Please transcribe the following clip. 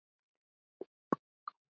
Úr getur átt við